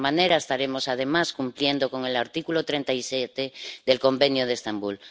De esta manera, estaremos además cumpliendo con el artículo 37 del Convenio de Estambul.